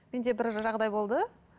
мен де бір жағдай болды